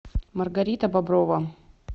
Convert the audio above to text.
маргарита боброва